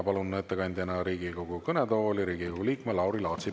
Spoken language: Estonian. Palun ettekandeks Riigikogu kõnetooli Riigikogu liikme Lauri Laatsi.